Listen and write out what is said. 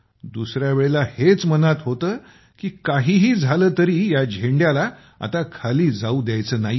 दुसर्या वेळेला हेच मनात होतं की काहीही झालं तरीही या झेंड्याला आता खाली जाऊ द्यायचं नाहीये